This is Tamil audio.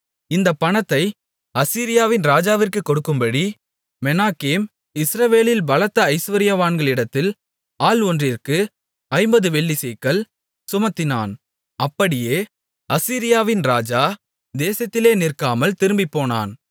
இந்தப் பணத்தை அசீரியாவின் ராஜாவிற்குக் கொடுக்கும்படி மெனாகேம் இஸ்ரவேலில் பலத்த ஐசுவரியவான்களிடத்தில் ஆள் ஒன்றிற்கு ஐம்பது வெள்ளிச் சேக்கல் சுமத்தினான் அப்படியே அசீரியாவின் ராஜா தேசத்திலே நிற்காமல் திரும்பிப்போனான்